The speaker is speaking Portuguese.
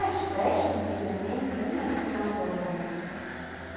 As festa antigamente não era como agora, né?